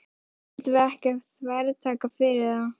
Samt ættum við ekki að þvertaka fyrir það, Valdimar.